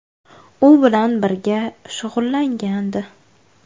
U bilan birga shug‘ullangandi.